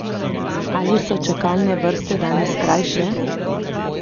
Ali so čakalne vrste danes krajše?